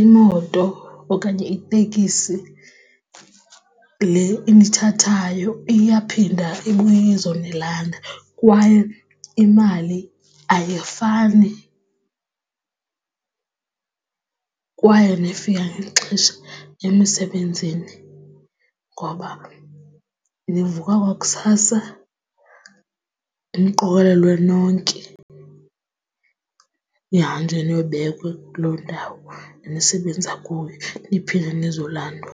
imoto okanye itekisi le inithathayo iyaphinda ibuye izonilanda kwaye imali ayifani kwaye nifika ngexesha emisebenzini ngoba nivuka kwakusasa, niqokolelwe nonke, nihambe niyobekwa kuloo ndawo nisebenza kuyo niphinde nizolandwa.